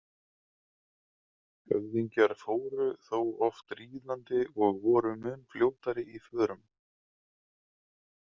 Höfðingjar fóru þó oft ríðandi og voru mun fljótari í förum.